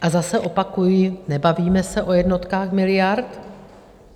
A zase opakuji, nebavíme se o jednotkách miliard.